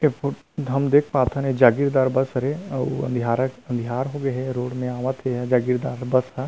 ये फो हम देख पाथन जागीरदार बस हरे आऊ अंधीयारत अंधियार होगे हे रोड म आवत हे जागीरदार बस ह--